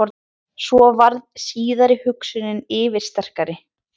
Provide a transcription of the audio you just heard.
Svo varð síðari hugsunin yfirsterkari.